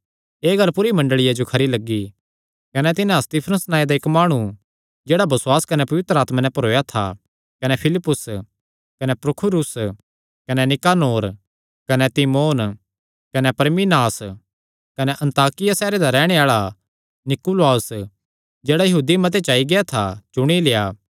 एह़ गल्ल पूरी मंडल़िया जो खरी लग्गी कने तिन्हां स्तिफनुस नांऐ दा इक्क माणु जेह्ड़ा बसुआस कने पवित्र आत्मा नैं भरोया था कने फिलिप्पुस कने प्रुखुरूस कने निकानोर कने तिमोन कने परमिनास कने अन्ताकिया सैहरे दा रैहणे आल़ा नीकुलाउस जेह्ड़ा यहूदी मत च आई गेआ था चुणी लेआ